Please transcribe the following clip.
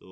তো,